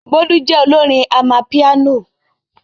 Bolu jẹ́ olórin amapiano.